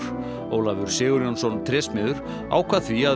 Ólafur Sigurjónsson trésmiður ákvað því að